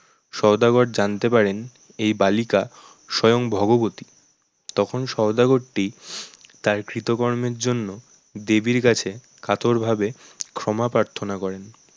সওদাগর জানতে পারেন এই বালিকা স্বয়ং ভগবতী, তখন সওদাগরটি তার কৃতকর্মের জন্য দেবীর কাছে কাতরভাবে ক্ষমা প্রার্থনা করেন